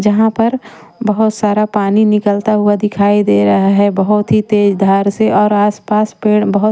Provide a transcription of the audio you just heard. जहाँ पर बहुत सारा पानी निकलता हुआ दिखाई दे रहा है बहुत ही तेज धार से और आसपास पेड़ बहुत--